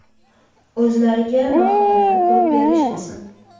O‘zlariga bahoni ko‘p berishmasin!